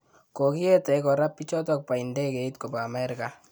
Kokiete kora pichotok pa indegeit kopa Amerika